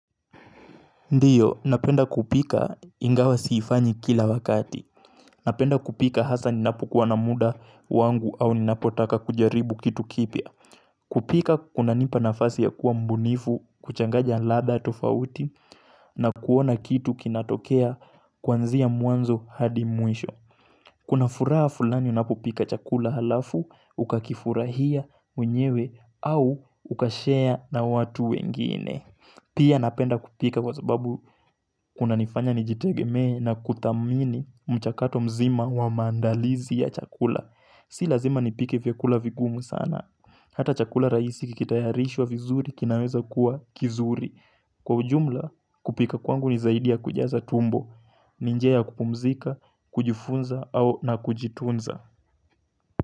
Ndio, napenda kupika ingawa siifanyi kila wakati. Napenda kupika asa ninapokuwa na muda wangu au ninapotaka kujaribu kitu kipya. Kupika kunanipa nafasi ya kuwa mbunifu, kuchanganya ladha tofauti, na kuona kitu kinatokea kwanzia mwanzo hadi mwisho. Kuna furaha fulani unapopika chakula alafu, ukakifurahia, mwenyewe, au ukashare na watu wengine. Pia napenda kupika kwa sababu kunanifanya nijitegeme na kuthamini mchakato mzima wa maandalizi ya chakula Si lazima nipike vyakula vigumu sana Hata chakula rahisi kikitayarishwa vizuri kinaweza kuwa kizuri. Kwa ujumla kupika kwangu ni saidi ya kujaza tumbo ni njia ya kupumzika, kujifunza au na kujitunza.